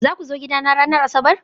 Za ku zo gidana ranar Asabar?